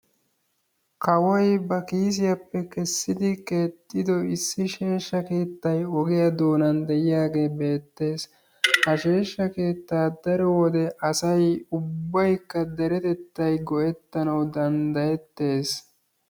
Kawoy ba kiisiyappe keesidi keexido issi sheeshsha keettay ogiya dooanan deiyage beettees. Ha sheeshsha keettaa daro wode asay ubbaykka deretettay go'ettanawu danddayetees.